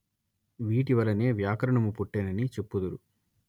వీటివలనే వ్యాకరణము పుట్టెనని చెప్పుదురు